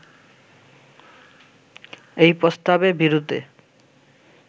এই প্রস্তাবে বিরুদ্ধে